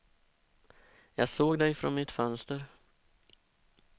Jag såg dig från mitt fönster.